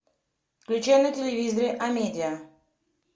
включай на телевизоре амедиа